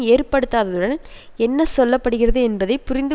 ஏற்படுத்தாததுடன் என்ன சொல்ல படுகிறது என்பதை புரிந்து